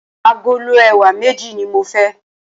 Agolo ẹ̀wà méjì ní mo fẹ́.